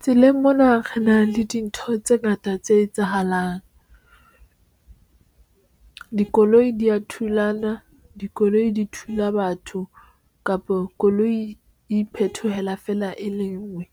Tseleng mona re na le dintho tse ngata tse etsahalang dikoloi di ya thulana, dikoloi di thula batho kapo koloi iphethola fela e le ngwe.